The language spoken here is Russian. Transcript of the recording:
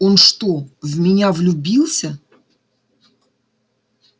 он что в меня влюбился